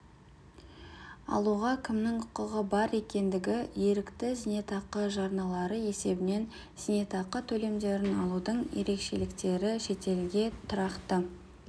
алуға кімнің құқығы бар екендігі ерікті зейнетақы жарналары есебінен зейнетақы төлемдерін алудың ерекшеліктері шетелге тұрақты